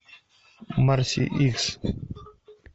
марси икс